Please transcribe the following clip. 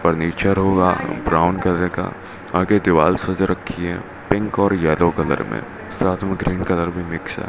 Furniture होगा brown colour का आगे दीवाल सज रखी है पिंक और येलो कलर में साथ में ग्रीन कलर भी मिक्स है।